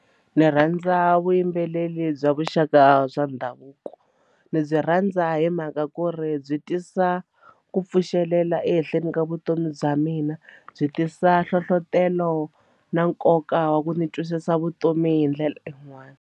Ni rhandza vuyimbeleri bya vuxaka bya ndhavuko ni byi rhandza hi mhaka ku ri byi tisa ku pfuxelela ehenhleni ka vutomi bya mina byi tisa hlohlotelo na nkoka wa ku ni twisisa vutomi hi ndlela yin'wani.